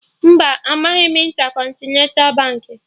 Mba, amaghị m Intercontinental Baankị